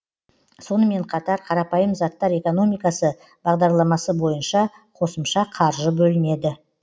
сонымен қатар қарапайым заттар экономикасы бағдарламасы бойынша қосымша қаржы бөлінеді